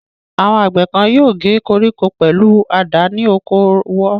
Àwọn àgbẹ̀ kan yóò gé koríko pẹ̀lú àdá ní oko wọ.